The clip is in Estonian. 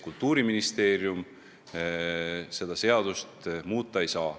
Kultuuriministeerium seda seadust muuta ei saa.